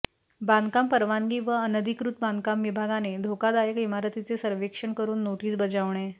बांधकाम परवानगी व अनधिकृत बांधकाम विभागाने धोकादायक इमारतीचे सर्व्हेक्षण करून नोटिस बजावणे